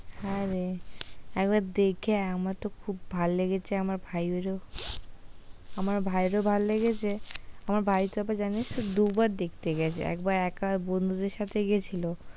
হ্যাঁ রে একবার দেখে আয়, আমার তো খুব ভালো লেগেছে। আমার ভাইয়ের ও আমার ভাইয়ের ও ভালো লেগেছে, আমার ভাই তো জানিস তো ওটা দুবার দেখতে গেছে একবার একা বন্ধুদের সাথে গেছিল,